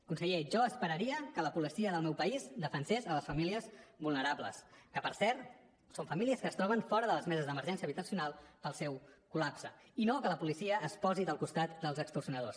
conseller jo esperaria que la policia del meu país defensés les famílies vulnerables que per cert són famílies que es troben fora de les meses d’emergència habitacional pel seu col·lapse i no que la policia es posi del costat dels extorsionadors